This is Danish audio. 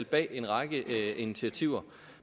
bag en række initiativer